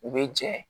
U bɛ jɛ